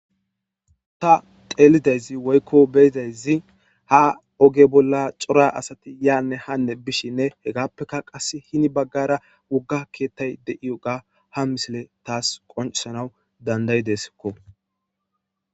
ta teelidayzi woykko beyidayzi ha oge bolla cora asati yaanne hanne bishinne hegappeka qas hini baggara wogga keettay de7iyoga ha misile taas qoncisanaw dandayideskko